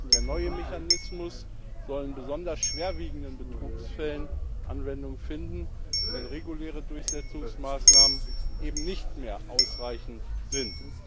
Der neue Mechanismus soll in besonders schwerwiegenden Betrugsfällen Anwendung finden, wenn reguläre Durchsetzungsmaßnahmen eben nicht mehr ausreichend sind.